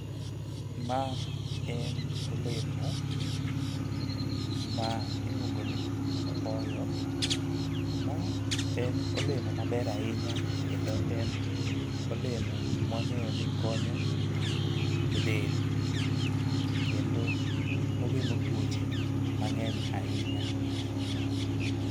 Ma en olemo ma iluongo ni opoyo ma en olemo maber ahinya kendo en olemo mwang'eyo ni konyo e del kendo ogeng'o tuoche mang'eny ahinya.